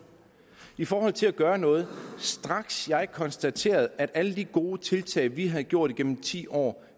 i forhold til at gøre noget at straks jeg konstaterede at alle de gode tiltag vi havde gjort igennem ti år